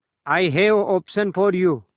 I have option for you